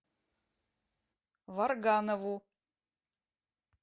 варганову